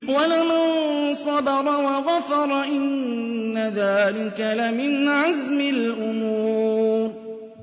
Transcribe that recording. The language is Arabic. وَلَمَن صَبَرَ وَغَفَرَ إِنَّ ذَٰلِكَ لَمِنْ عَزْمِ الْأُمُورِ